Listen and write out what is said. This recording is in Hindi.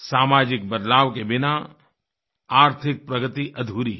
सामाजिक बदलाव के बिना आर्थिक प्रगति अधूरी है